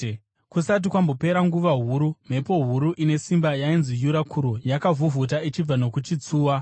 Kusati kwambopera nguva huru, mhepo huru ine simba, yainzi “Yurakuro,” yakavhuvhuta ichibva nokuchitsuwa.